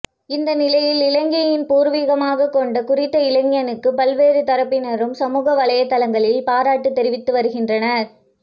இந்தநிலையில் இலங்கையினை பூர்விகமாக கொண்ட குறித்த இளைஞனுக்கு பல்வேறு தரப்பினரும் சமூக வலைத்தளங்களில் பாராட்டு தெரிவித்து வருகின்றனர்